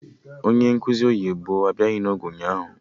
Onye nkụzi oyibo abịaghị n'oge ụnyaahụ